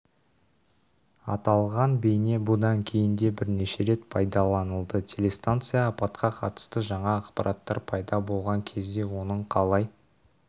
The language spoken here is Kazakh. аталған бейне бұдан кейін де бірнеше рет пайдаланылды телестанция апатқа қатысты жаңа ақпараттар пайда болған кезде оның қалай